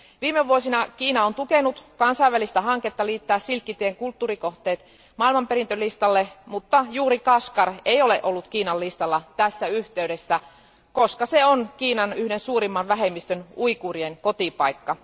Viime vuosina Kiina on tukenut kansainvälistä hanketta liittää silkkitien kulttuurikohteet maailmanperintölistalle, mutta juuri Kashgar ei ole ollut Kiinan listalla tässä yhteydessä, koska se on yhden Kiinan suurimmista vähemmistöistä, uiguurien, kotipaikka.